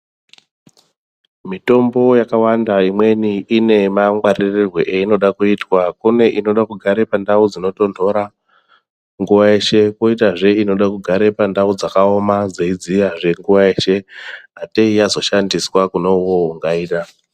Mitombo yakawanda imweni ine mangwaririrwe yainoda kuitwa kune inoda kugara pandau dzinotonhora nguva yeshe. Koitazve inoda kugare pandau dzakaoma dzei dziyazve nguva yeshe atei yazoshandiswa kune ivovo ungaida.